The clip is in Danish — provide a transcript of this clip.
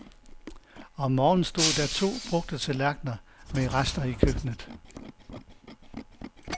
Om morgenen stod der to brugte tallerkener med rester i køkkenet.